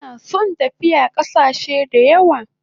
Ina son tafiya kasache dayawa